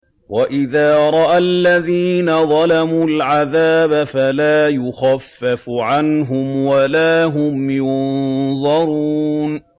وَإِذَا رَأَى الَّذِينَ ظَلَمُوا الْعَذَابَ فَلَا يُخَفَّفُ عَنْهُمْ وَلَا هُمْ يُنظَرُونَ